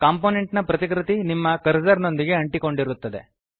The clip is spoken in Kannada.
ಕಾಂಪೊನೆಂಟ್ ನ ಪ್ರತಿಕೃತಿ ನಿಮ್ಮ ಕರ್ಸರ್ ನೊಂದಿಗೆ ಅಂಟಿಕೊಂಡಿರುತ್ತದೆ